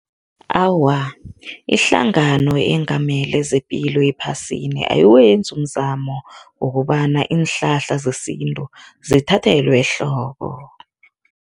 Awa, ihlangano eyengamele zepilo ephasini ayiwenzi umzamo wokobana iinhlahla zesintu zithathelwe ehloko.